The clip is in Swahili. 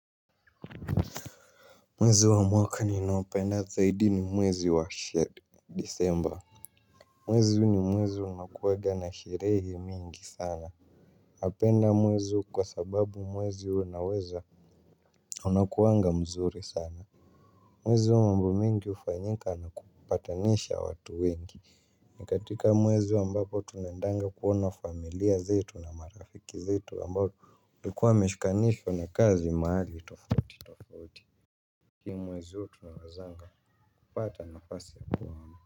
Mwezi wa mwaka ninaopenda zaidi ni mwezi wa disemba. Mwezi ni mwezi unakuwega na sherehe mingi sana. Apenda mwezi huu kwa sababu mwezi unaweza. Unakuwanga mzuri sana. Mwezi wa mbo mingi hufanyika na kupatanisha watu wengi. Nikatika mwezi wa mbapo tunendanga kuona familia zetu na marafiki zetu ambayo likuwa mishkanishwa na kazi mahali tufautitofauto. Ki mwezi huu tunawazanga kupata nafasi ya ku.